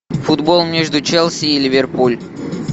футбол между челси и ливерпуль